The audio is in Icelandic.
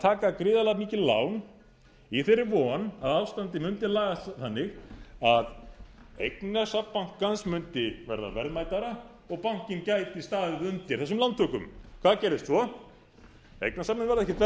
taka gríðarlega mikil lán í þeirri von að ástandið mundi lagast þannig að eignasafn bankans mundi verða verðmætara og bankinn gæti staðið undir þessum lántökum hvað gerðist svo eignasafnið varð